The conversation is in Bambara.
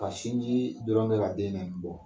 Ka sinji dɔrɔn bɛ ka den in bɔ.